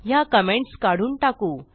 ह्या कमेंट्स काढून टाकू